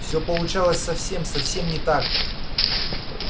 все получалось совсем совсем не так